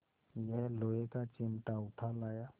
यह लोहे का चिमटा उठा लाया